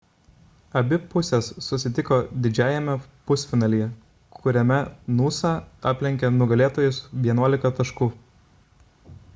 abi pusės susitiko didžiajame pusfinalyje kuriame noosa aplenkė nugalėtojus 11 taškų